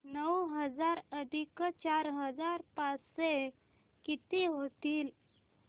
नऊ हजार अधिक चार हजार पाचशे किती होतील